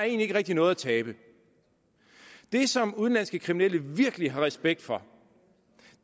ikke rigtig noget at tabe det som udenlandske kriminelle virkelig har respekt for